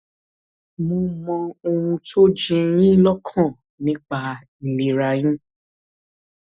mo mọ ohun tó ń jẹ yín lọkàn nípa ìlera yín